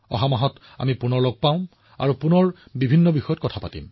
অহা মাহত আমি পুনৰ লগ পাম আৰু তাৰ পিছত আমি এনে বহুতো বিষয়ৰ বিষয়ে কথা পাতিম